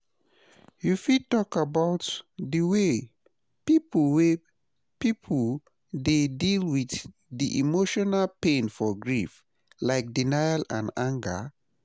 You fit talk about di way people way people dey deal with di emotional pain for grief, like denial, and anger?